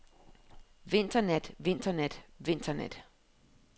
vinternat vinternat vinternat